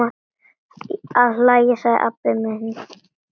Að hlæja, sagði Abba hin.